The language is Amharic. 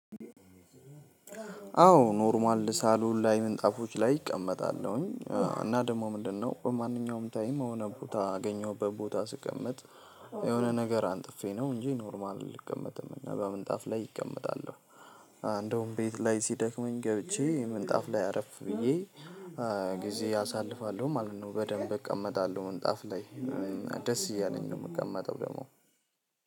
አዎ ኖርማል ሳሎን ላይ ምንጣፎች ላይ እቀመጣለሁኝ እና ደግሞ ምንድነው በማንኛውም ታይም የሆነ ቦታ ያገኘሁበት ቦታ ስቀመጥ የሆነ ነገር አንጥፌ ነው እንጂ ኖርማል ልቀመጥም እና በምንጣፍ ላይ እቀመጣለሁ። እንደውም ቤት ላይ ሲደክመኝ ገብቼ ምንጣፍ ላይ አረፍ ብዬ ጊዜ አሳልፋለሁ ማለት ነው። በደንብ እቀመጣለሁ ምንጣፍ ላይ ደስ እያለኝ ነው የምቀመጠው። ደግሞ